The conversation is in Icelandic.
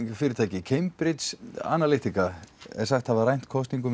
fyrirtæki Cambridge Analytica er sagt hafa rænt kosningunum í